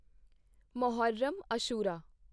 Muharram Ashura